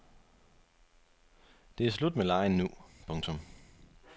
Det er slut med legen nu. punktum